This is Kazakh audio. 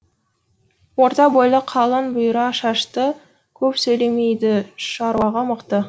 орта бойлы қалың бұйра шашты көп сөйлемейді шаруаға мықты